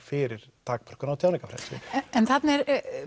fyrir takmörkun á tjáningarfrelsi en þarna er